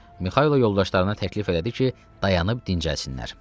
Mixailo yoldaşlarına təklif elədi ki, dayanıb dincəlsinlər.